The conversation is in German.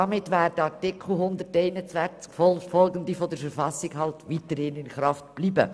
Damit würden die Artikel 121ff der Verfassung in Kraft bleiben.